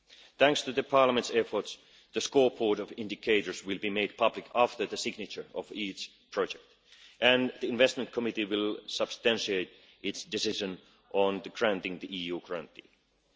Thanks to Parliament's efforts, the scoreboard of indicators will be made public after the signature of each project and the investment committee will substantiate its decision on the granting of EU